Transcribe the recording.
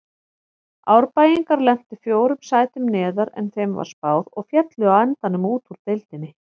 Árbæingar lentu fjórum sætum neðar en þeim var spáð og féllu á endanum úr deildinni.